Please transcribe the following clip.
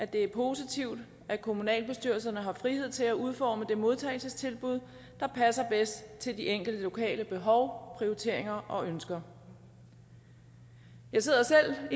det er positivt at kommunalbestyrelserne har frihed til at udforme det modtagelsestilbud der passer bedst til de enkelte lokale behov prioriteringer og ønsker jeg sidder selv